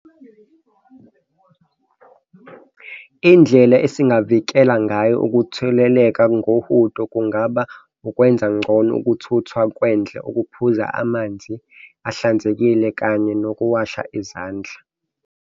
Indlela esingavikela ngayo ukutheleleka ngohudo kungaba ukwenza ngcono ukuthuthwa kwendle, ukuphuza amanzi ahlanzekile, kanye nokuwasha izandla.